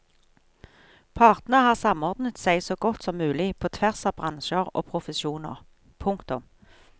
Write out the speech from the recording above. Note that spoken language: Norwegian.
Partene har samordnet seg så godt som mulig på tvers av bransjer og profesjoner. punktum